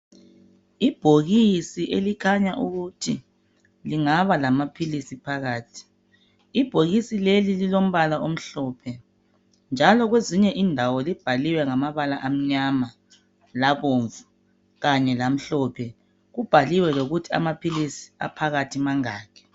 Ibhokisi elikhanya ukuthi lingaba lamaphilisi phakathi ibhokisi leli lilombala omhlophe njalo kwezinye indawo libhaliwe ngamabala amnyama labomvu kanye lomhlophe kubhaliwe lokuthi amaphilisi aphakathi mangaki